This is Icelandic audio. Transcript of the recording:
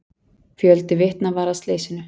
Fjöldi vitna var að slysinu.